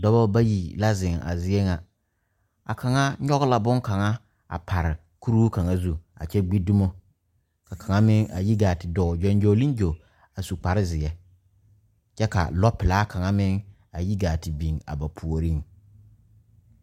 Dɔba bayi la zeŋ a zie ŋa kaŋa nyɔge la bonkaŋa a pare kuri kaŋa zu a gbi dumo ka kaŋa meŋ a yi gaa te dɔɔ gyoŋgyoŋlengyo a su kparezeɛ kyɛ ka lɔɔpelaa kaŋa meŋ a yi gaa te are ba puoriŋ.